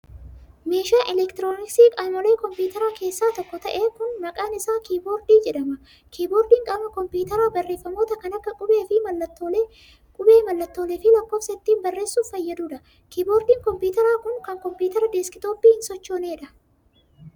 Meeshaan elektirooniksii qaamolee kompiitaraa keessaa tokko ta'e kun maqaan isaa kiiboordii jedhama. Kiiboordiin qaama kopiitaraa barreeffamoota kan akka:qubee, mallattoolee fi lakkoofsa ittiin barreessuuf fayyaduu dha. Kiiboordiin kompiitaraa kun, kan kompiitara deeskitooppii hin sochoonee dha.